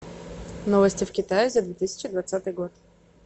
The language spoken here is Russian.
новости в китае за две тысячи двадцатый год